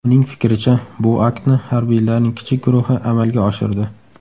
Uning fikricha, bu aktni harbiylarning kichik guruhi amalga oshirdi.